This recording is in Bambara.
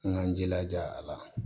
An k'an jilaja a la